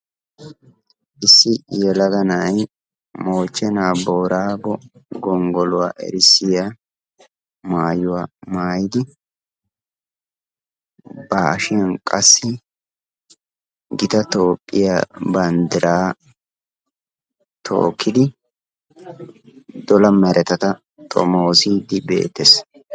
Issi yellagga na'ay Mochche na'a Boraggo gonggolluwaa erssiyaa maayuwaa maayiddi, ba hashshiyan qassi gitta Tophphiyaa banddira tookkidi dolla merettatta xomosiddi beettes.